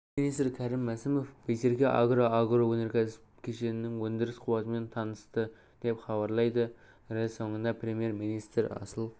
премьер-министр кәрім мәсімов байсерке агро агроөнеркәсіп кешенінің өндіріс қуатымен танысты деп хабарлайды рі соңында премьер-министр асыл